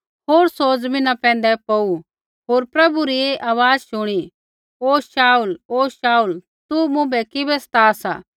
होर सौ ज़मीना पैंधै पौड़ू होर प्रभु री ऐ आवाज़ शुणी हे शाऊल हे शाऊल तू मुँभै किबै सता सा